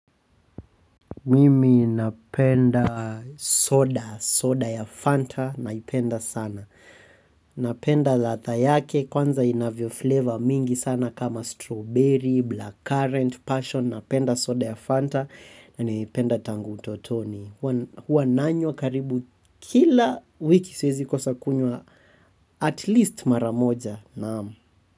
Mimi napenda soda, soda ya Fanta naipenda sana. Napenda latha yake kwanza inavyo flavor mingi sana kama strawberry, blackcurrant, passion. Napenda soda ya Fanta na naipenda tangu utotoni. Huwa nanywa karibu kila wiki sezi kosa kunywa at least mara moja naam.